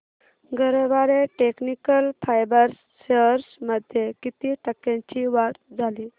Garware technical fibres shares मध्ये किती टक्क्यांची वाढ झाली